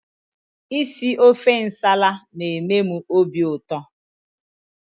Isi ofe nsala na-eme m obiụtọ